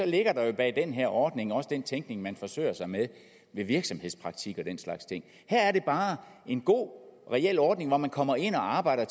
ligger der jo bag den her ordning også den tænkning man forsøger sig med ved virksomhedspraktik og den slags ting her er det bare en god reel ordning hvor man kommer ind og arbejder